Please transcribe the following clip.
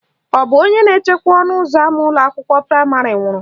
Ọ bụ onye na-echekwa ọnụụzọ ama ụlọakwụkwọ praịmarị nwụrụ?